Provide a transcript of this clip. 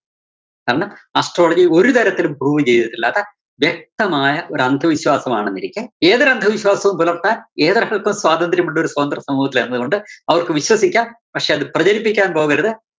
കാരണം astrology ഒരു തരത്തിലും prove ചെയ്തിട്ടില്ല. അത് വ്യക്തമായ ഒരു അന്ധവിശ്വാസമാണെന്നിരിക്കെ ഏതൊരു അന്ധവിശ്വാസവും പുലര്‍ത്താന്‍ ഏതൊരാള്‍ക്കും സ്വാതന്ത്രമുള്ളൊരു സ്വതന്ത്രസമൂഹത്തിലായിരുന്നതുകൊണ്ട് അവര്‍ക്ക് വിശ്വസിക്കാം പക്ഷേ അത് പ്രചരിപ്പിക്കാന്‍ പോകരുത്.